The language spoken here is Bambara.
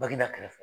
Baginda kɛrɛfɛ